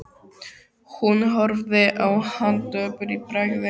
Hún horfði á hann döpur í bragði.